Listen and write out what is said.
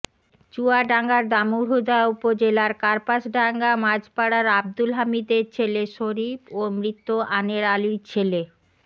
চুয়াডাঙ্গার দামুড়হুদা উপজেলার কার্পাসডাঙ্গা মাঝপাড়ার আব্দুল হামিদের ছেলে শরীফ ও মৃত আনের আলীর ছেলে